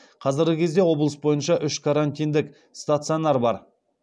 қазіргі кезде облыс бойынша үш карантиндік стационар бар